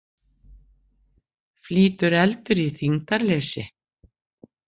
Flýtur eldur í þyngdarleysi?